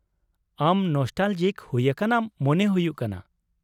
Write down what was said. ᱟᱢ ᱱᱚᱥᱴᱟᱞᱚᱡᱤᱠ ᱦᱩᱭ ᱟᱠᱟᱱᱟᱢ ᱢᱚᱱᱮ ᱦᱩᱭᱩᱜ ᱠᱟᱱᱟ ᱾